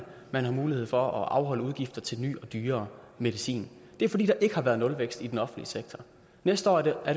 man har mulighed for at afholde udgifter til ny og dyrere medicin det er fordi der ikke har været nulvækst i den offentlige sektor næste år er der